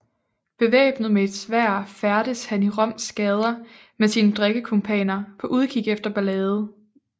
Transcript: Bevæbnet med et sværd færdedes han i Roms gader med sine drikkekumpaner på udkig efter ballade